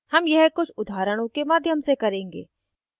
हम यह कुछ उदाहरणों के माध्यम से करेंगे